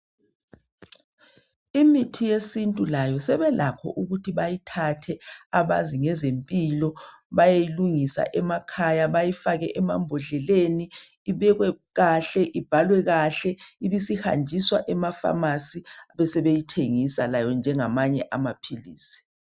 Imithi yesintu layo sebelakho ukuthi bayithathe abazi ngezempilo bayeyilundisa emakhaya bayifake emambodleleni, ibekwe kahle, ibhaliwe kahle ibisihanjiswa ema pharmacy besebeyithengisa layo njengamanye amaphilisi